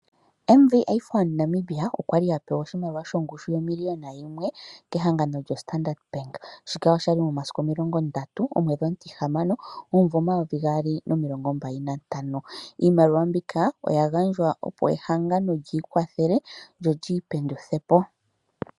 MVA Fund Namibia okwali apewa oshimaliwa shongushu yomiliona yimwe kehangano lyo Standard Bank. Shika oshali momasiku omilongo ndatu omwedhi omutihamano omuvo omayovi gaali nomilongo mbali nantano iimaliwa mbika oya gandjwa opo ehangano lyi ikwathele lyo lyi penduthepo.